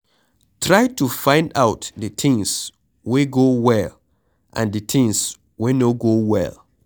Try to find out di things wey go well and di things wey no go well